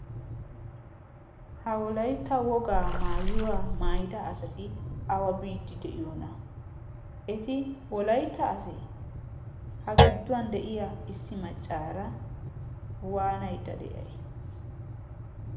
ha wolaitta wogaa maawiyaaa maayida asati awa biiddi de7iyoona? eti wolaitta asee? ha gidduwan de7iya issi maccaara waanaidda de7ai?